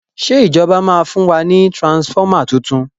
ṣe ìjọba ma fún wa ní transformer títún?